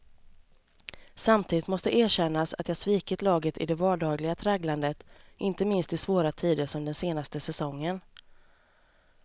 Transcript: Samtidigt måste erkännas att jag svikit laget i det vardagliga tragglandet, inte minst i svåra tider som den senaste säsongen.